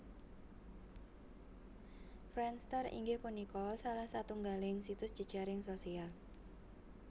Friendster inggih punika salah satunggaling situs jejaring sosial